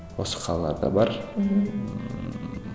осы қалаларда бар ммм